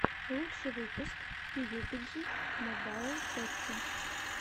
лучший выпуск пиюбиджи мобайл тоти